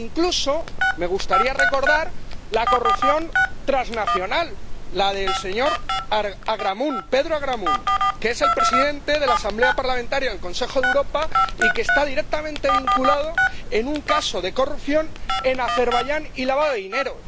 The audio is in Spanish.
Incluso me gustaría recordar la corrupción transnacional, la del señor Pedro Agramunt, que es el presidente de la Asamblea Parlamentaria del Consejo de Europa y está directamente vinculado a un caso de corrupción en Azerbaiyán y de lavado de dinero.